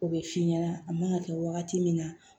O bɛ f'i ɲɛna a man ka kɛ wagati min na